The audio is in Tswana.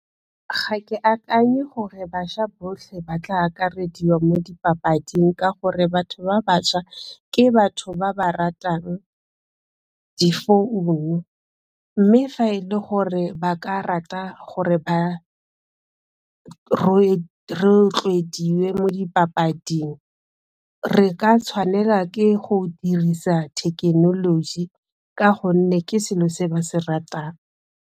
Ga ke akanye gore bašwa botlhe ba tla akarediwa mo dipapading ka gore batho ba bašwa ke batho ba ba ratang difounu mme fa e le gore ba ka rata gore ba rotloediwe mo dipapading re ka tshwanela ke go dirisa thekenoloji ka gonne ke selo se ba se ratang.